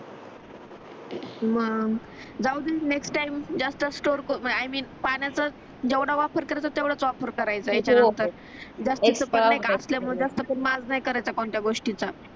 मग जाऊदे next time जास्त स्टोर आई मिन पाण्याचा जेवढ वापर करायचा तेवढाच वापर करायचं याच्यानंतर जास्त पण नाहीका आपन जास्त पण माज नाही करायचं कोणत्या गोष्टीचा